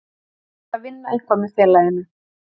Ég verð að vinna eitthvað með félaginu.